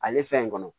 Ale fɛn in kɔnɔ